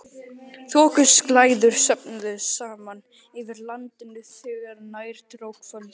Þokuslæður söfnuðust saman yfir landinu þegar nær dró kvöldi.